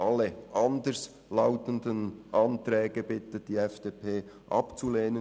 Alle anders lautenden Anträge bittet die FDP abzulehnen.